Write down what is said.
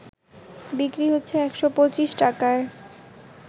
বিক্রি হচ্ছে ১২৫ টাকায়